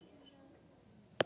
Það var á tali.